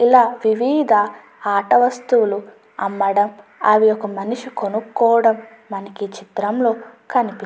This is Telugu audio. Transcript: ఇలా వివిధ ఆట వస్తువులు అమ్మడం అవి ఒక మనిషి కొనుక్కోవడం మనకి చిత్రంలో కనిపి --